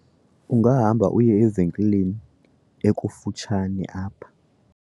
ungahamba uye evenkileni ekufutshane apha